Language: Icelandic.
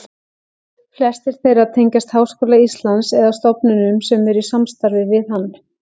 Flestir þeirra tengjast Háskóla Íslands eða stofnunum sem eru í samstarfi við hann.